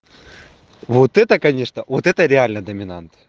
вот это конечно вот это реально доминант